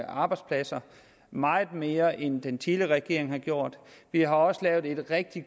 arbejdspladser meget mere end den tidligere regering gjorde vi har lavet en rigtig